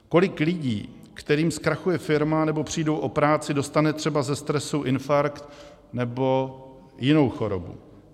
Kolik lidí, kterým zkrachuje firma nebo přijdou o práci, dostane třeba ze stresu infarkt nebo jinou chorobu.